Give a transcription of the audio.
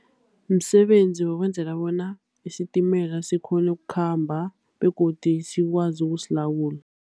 Msebenzi wokwenzela bona isitimela sikghone ukukhamba, begodi sikwazi ukusilawula.